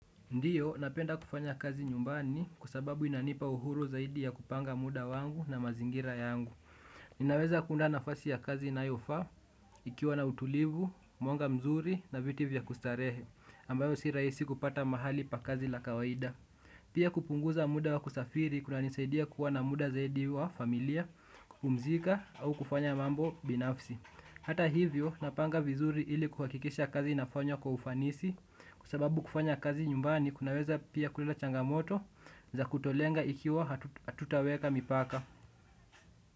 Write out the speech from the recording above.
Ndiyo, napenda kufanya kazi nyumbani kwa sababu inanipa uhuru zaidi ya kupanga muda wangu na mazingira yangu. Ninaweza kuunda nafasi ya kazi inayofaa, ikiwa na utulivu, mwanga mzuri na viti vya kustarehe, ambayo si rahisi kupata mahali pa kazi la kawaida. Pia kupunguza muda wa kusafiri kunanisaidia kuwa na muda zaidi wa familia, kupumzika au kufanya mambo binafsi. Hata hivyo napanga vizuri ili kuhakikisha kazi inafanywa kwa ufanisi kwa sababu kufanya kazi nyumbani kunaweza pia kuleta changamoto za kutolenga ikiwa hatutaweka mipaka.